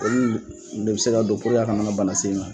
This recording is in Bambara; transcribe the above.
Olu le bi se ka don puruke a kana bana se i kan